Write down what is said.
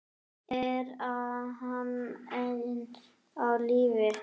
Er hann enn á lífi?